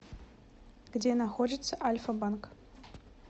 где находится альфа банк